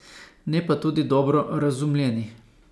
Ne pa tudi dobro razumljeni.